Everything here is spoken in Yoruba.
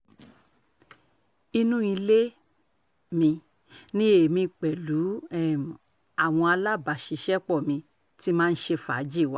inú ilé um mi ni èmi pẹ̀lú um àwọn alábàáṣiṣẹ́pọ̀ mi ti máa ń ṣe fàájì wa